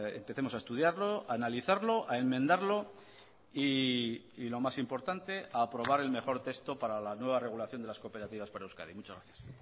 empecemos a estudiarlo a analizarlo a enmendarlo y lo más importante a aprobar el mejor texto para la nueva regulación de las cooperativas para euskadi muchas gracias